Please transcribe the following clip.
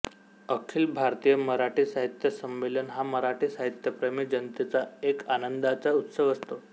अखिल भारतीय मराठी साहित्य संमेलन हा मराठी साहित्यप्रेमी जनतेचा एक आनंदाचा उत्सव असतो